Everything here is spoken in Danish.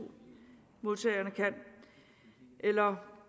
modtagerne kan eller